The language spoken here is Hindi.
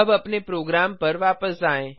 अब अपने प्रोग्राम पर वापस आएँ